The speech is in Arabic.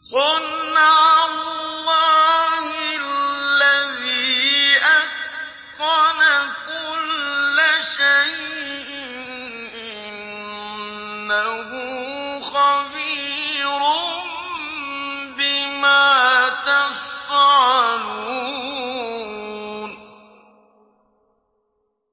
صُنْعَ اللَّهِ الَّذِي أَتْقَنَ كُلَّ شَيْءٍ ۚ إِنَّهُ خَبِيرٌ بِمَا تَفْعَلُونَ